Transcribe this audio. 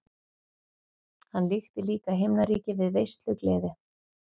Hann líkti líka himnaríki við veislugleði.